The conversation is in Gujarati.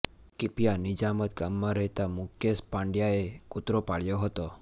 ક્પિયા નીજામત ગામમાં રહેતા મુકેશ પાંડયેએ કુતરો પાળ્યો હતો